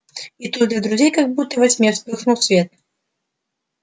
и тут для друзей как будто во тьме вспыхнул свет